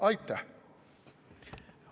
Aitäh!